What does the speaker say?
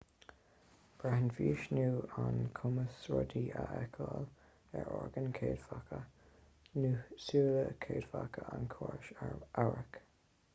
braitheann fís nó an cumas rudaí a fheiceáil ar orgáin chéadfacha nó súile céadfacha an chórais amhairc